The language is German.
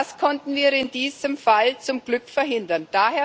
Das konnten wir in diesem Fall zum Glück verhindern.